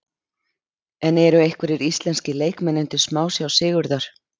En eru einhverjir íslenskir leikmenn undir smásjá Sigurðar?